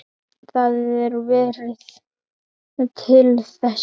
Það er veðrið til þess.